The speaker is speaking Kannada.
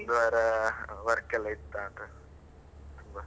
ಒಂದು ವಾರ work ಎಲ್ಲ ಇತ್ತಾ ಅಂತ, ತುಂಬಾ.